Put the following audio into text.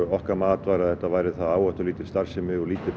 okkar mat var að þetta væri það áhættulítil starfsemi og lítið